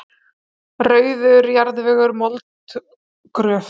Rauður jarðvegur, mold, gröf?